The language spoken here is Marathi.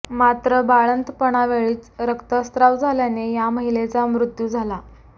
मात्र बाळंतपणा वेळीच रक्तस्त्राव झाल्याने या महिलेचा मृत्यू झाला